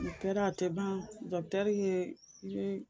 O kɛra a tɛ ban dɔkutɛri ye.